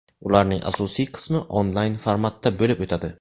Ularning asosiy qismi onlayn formatda bo‘lib o‘tadi.